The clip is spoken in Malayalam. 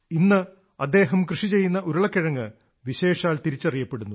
ഇന്ന് അദ്ദേഹത്തിന്റെ ഉരുളക്കിഴങ്ങ് വിശേഷാൽ തിരിച്ചറിയപ്പെടുന്നു